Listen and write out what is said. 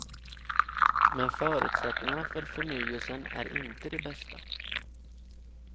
Men förutsättningarna för förnyelsen är inte de bästa.